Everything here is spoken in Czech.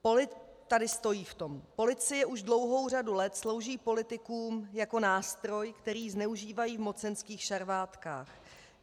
Policie už dlouhou řadu let slouží politikům jako nástroj, který zneužívají v mocenských šarvátkách.